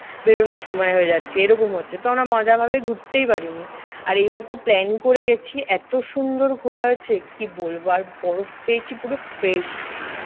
বেরুনোর সময় হয়ে যাচ্ছে। এইরকম হচ্ছে। তো আমরা মজাভাবে ঘুরতেই পারিনি। আর এইবারটা plan করে গেছি। এতো সুন্দর ঘোরা হয়েছে কি বলবো। আর বরফ পেয়েছি পুরো fresh